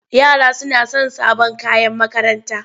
Yara suna son sabon kayan makaranta.